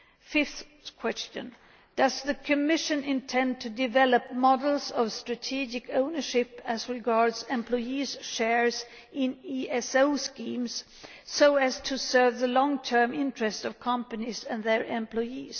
Fifth question does the Commission intend to develop models of strategic ownership as regards employees' shares in ESO schemes so as to serve the long term interests of companies and their employees?